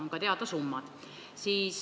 On ka teada summad.